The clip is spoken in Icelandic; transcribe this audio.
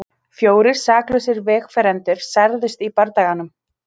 Fjórir saklausir vegfarendur særðust í bardaganum